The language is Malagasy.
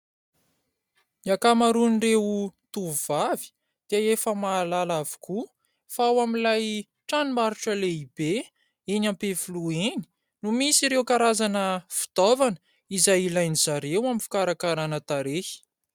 Ny ankamaroan'ireo tovovavy dia efa mahalala avokoa fa ao amin'ilay tranom-barotra lehibe eny Ampefiloha eny no misy ireo karazana fitaovana izay ilain'izy ireo amin'ny fikarakarana tarehy.